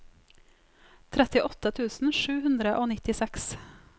trettiåtte tusen sju hundre og nittiseks